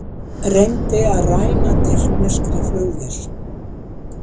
Reyndi að ræna tyrkneskri flugvél